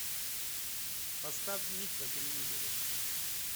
поставь ник на телевизоре